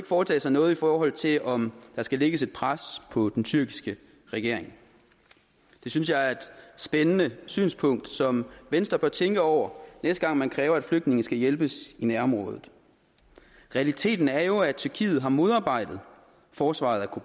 foretage sig noget i forhold til om der skal lægges et pres på den tyrkiske regering det synes jeg er et spændende synspunkt som venstre bør tænke over næste gang man kræver at flygtninge skal hjælpes i nærområdet realiteten er jo at tyrkiet har modarbejdet forsvaret af